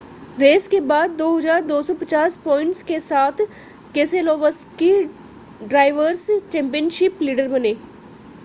race के बाद 2,250 points के साथ केसेलोवस्की ड्रायवर्स चैंपियनशिप लीडर बने रहे